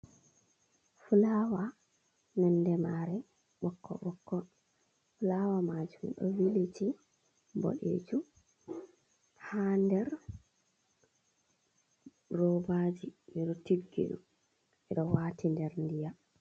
Flawa nonde mare bokko bokko flawa majum do viliti bodejum ha nder robaji ido tiggido edo wati nder ndiyam.